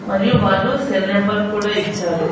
మరియు వాళ్ళు cell number కూడా ఇచ్చారు.